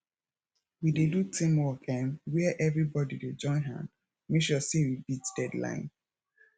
we dey do teamwork um were everybodi dey join hand make sure sey we beat deadline